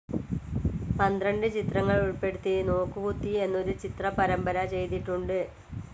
പന്ത്രണ്ട് ചിത്രങ്ങളുൾപ്പെടുത്തി നോക്കുകുത്തി എന്നൊരു ചിത്ര പരമ്പര ചെയ്തിട്ടുണ്ട്.